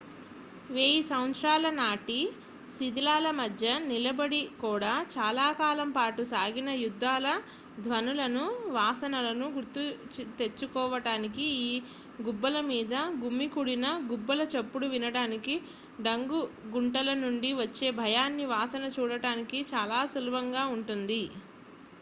వేయి సంవత్సరాల నాటి శిథిలాల మధ్య నిలబడి కూడా చాలా కాలం పాటు సాగిన యుద్ధాల ధ్వనులను వాసనలను గుర్తు తెచ్చుకోవడానికి ఆ గుబ్బల మీద గుమికూడిన గుబ్బల చప్పుడు వినటానికి డంగు గుంటల నుండి వచ్చే భయాన్ని వాసన చూడటానికి చాలా సులభంగా ఉంటుంది